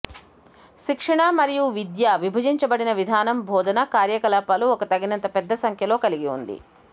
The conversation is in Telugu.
శిక్షణ మరియు విద్య విభజించబడిన విధానం బోధన కార్యకలాపాలు ఒక తగినంత పెద్ద సంఖ్యలో కలిగి ఉంది